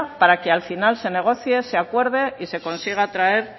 para que al final se negocie se acuerdo y se consiga traer